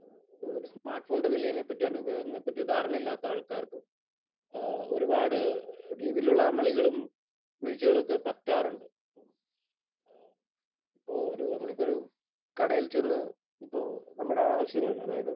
ഏഹ് ഒരു സ്മാർട്ഫോണിന്റെ വിലയിനെ പറ്റി, അതിന്റെ ഉപയോഗത്തെ പറ്റി ധാരണ ഇല്ലാത്ത ആൾക്കാർക്ക് ഏഹ് ഒരുപാട് രീതിയിലുള്ള അമളികളും വീഴ്ചകളുമൊക്കെ പറ്റാറുണ്ട്. ഏഹ് ഇപ്പോൾ ഒരു നമ്മൾ ഇപ്പോൾ ഒരു കടയിൽ ചെന്ന് ഇപ്പോൾ നമ്മുടെ ആവശ്യങ്ങൾ അതായത്